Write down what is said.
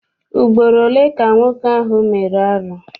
Ugboro ole ka nwoke ahụ mere arụ ahụ?